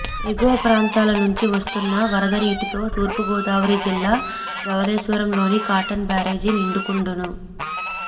ఎగువ ప్రాంతాల నుంచి వస్తున్న వరద నీటితో తూర్పుగోదావరి జిల్లా ధవళేశ్వరంలోని కాటన్ బ్యారేజీ నిండుకుండను